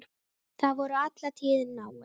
Þau voru alla tíð náin.